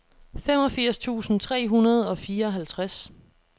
femogfirs tusind tre hundrede og fireoghalvtreds